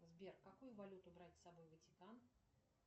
сбер какую валюту брать с собой в ватикан